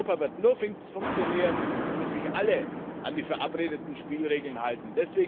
Europa wird nur funktionieren, wenn sich alle an die verabredeten Spielregeln halten.